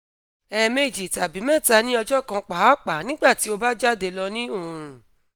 ẹẹmeji tabi mẹta ni ọjọ kan paapaa nigbati o ba jade lọ ni oorun